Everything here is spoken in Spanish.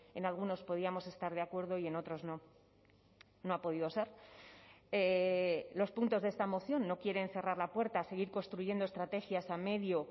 en algunos podíamos estar de acuerdo y en otros no no ha podido ser los puntos de esta moción no quieren cerrar la puerta a seguir construyendo estrategias a medio